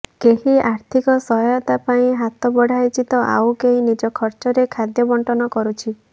କେହି ଆର୍ଥିକ ସହାୟତା ପାଇଁ ହାତ ବଢାଇଛି ତ ଆଉ କେହି ନିଜ ଖର୍ଚ୍ଚରେ ଖାଦ୍ୟ ବଣ୍ଟନ କରୁଛି